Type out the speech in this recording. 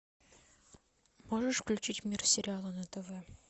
можешь включить мир сериала на тв